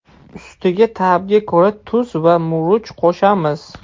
Ustiga ta’bga ko‘ra tuz va murch qo‘shamiz.